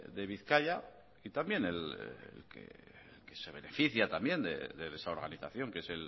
de bizkaia y también el que se beneficia de esa organización que es